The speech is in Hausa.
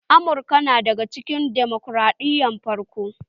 Amurka na daga cikin demokraɗiyya na farko